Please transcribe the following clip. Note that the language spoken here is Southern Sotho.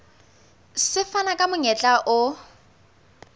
se fana ka monyetla o